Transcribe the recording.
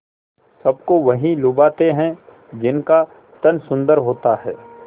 सबको वही लुभाते हैं जिनका तन सुंदर होता है